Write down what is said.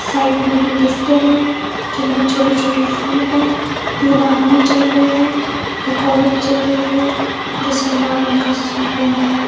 Side में गुलदस्तें हैं जिनमें छोटे छोटे फूल है तीन आदमी चल रहे हैं एक औरत चल रही है जिसने लाल रंग का सूट पहना है।